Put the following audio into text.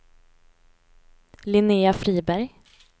Linnéa Friberg